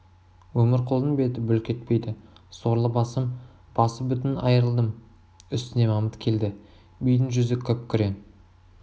өмірқұлдың беті бүлк етпейді сорлы басым басы бүтін айырылдым үстіне мамыт келді бидің жүзі күп-күрең